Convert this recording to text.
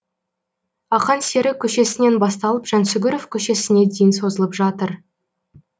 ақан сері көшесінен басталып жансүгіров көшесіне дейін созылып жатыр